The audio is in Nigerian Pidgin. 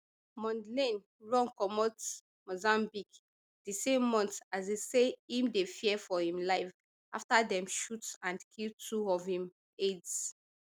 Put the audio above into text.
mondlane run comot mozambique di same month as e say im dey fear for im life afta dem shoot and kill two of im aides